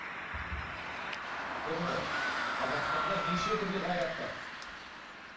көрдің ғой иә қазақстанда неше түрлі қайрат бар